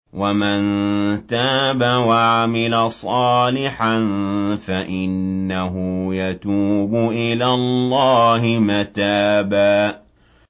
وَمَن تَابَ وَعَمِلَ صَالِحًا فَإِنَّهُ يَتُوبُ إِلَى اللَّهِ مَتَابًا